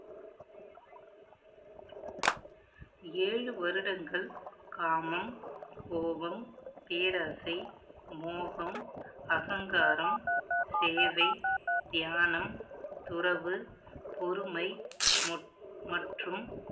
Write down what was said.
ஏழு வருடங்கள் காமம், கோபம், பேராசை, மோகம், அகங்காரம், சேவை, தியானம், துறவு, பொறுமை, மொ~ மற்றும்